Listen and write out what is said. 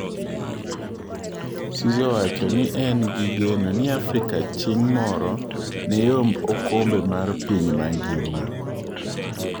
Cisse owacho ni en gi geno ni Afrika ching' moro neyomb okombe mar piny mangima.